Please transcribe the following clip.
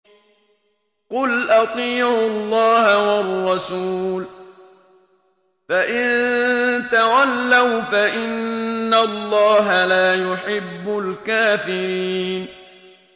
قُلْ أَطِيعُوا اللَّهَ وَالرَّسُولَ ۖ فَإِن تَوَلَّوْا فَإِنَّ اللَّهَ لَا يُحِبُّ الْكَافِرِينَ